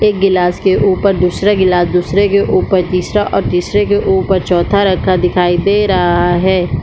एक गिलास के ऊपर दूसरा गिलास दूसरे के ऊपर तीसरा और तीसरे के ऊपर चौथा रखा दिखाई दे रहा हैं।